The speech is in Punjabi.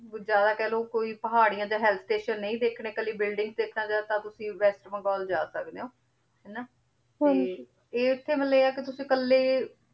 ਜਿਆਦਾ ਕਹ ਲੋ ਕੋਈ ਪਹਰਿਯਾਂ ਤੇ hill station ਸ੍ਤਾਤਿਓਂ ਨਾਈ ਦੇਖਨੇ ਬੁਇਲ੍ਦਿਨ੍ਗ੍ਸ ਦੇਖਣਾ ਚਹੁ ਤਾਂ ਤੁਸੀਂ ਵੇਸ੍ਟ ਬੰਗਾਲ ਜਾ ਸਕਦੇ ਊ ਹਾਨਾ ਤੇ ਏਥੇ ਮਤਲਬ ਆਯ ਆ ਕੀ ਤੁਸੀਂ ਕਾਲੇ